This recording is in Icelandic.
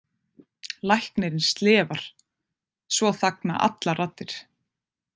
Læknirinn slefar, svo þagna allar raddir.